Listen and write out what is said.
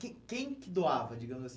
Quem quem que doava, digamos assim?